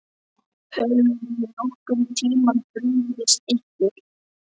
Höfum við nokkurn tímann brugðist ykkur?